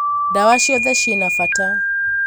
ndawa ciothe cina bata